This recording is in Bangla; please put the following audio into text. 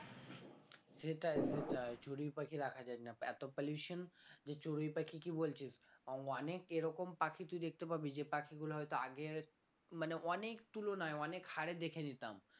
সেটাই সেটাই চড়ুই পাখি দেখা যাই না এত pollution যে চড়ুই পাখি কি বলছিস অনেক এরকম পাখি তুই দেখতে পাবি যে পাখিগুলো হয়তো আগে মানে অনেক তুলনায় অনেক হারে দেখে নিতাম